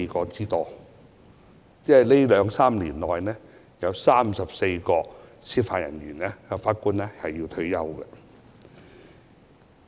即是說，這兩三年內，將會有34位法官或司法人員退休。